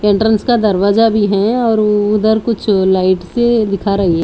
Entrance का दरवाजा भी हैं और उधर कुछ लाइट सी दिखा रही है।